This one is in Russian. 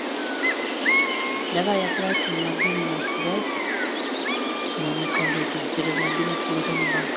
давай оплатим мобильную связь моему коллеге через мобильное приложение банка